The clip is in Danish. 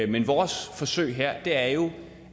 men vores forsøg her er jo